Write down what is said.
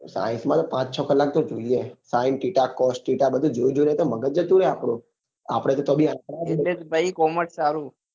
n science માં તો પાંચ છ કલાક તો જોઈએ sin theta cos theta બધું જોઈ જોઈ ને તો મગજ જ શું કરે અઆપ્ડું